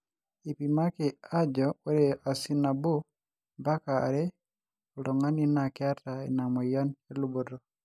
eipimaki ajo ore asin nabo mpaka are ooltunganak naa keeta ina moyian eluboto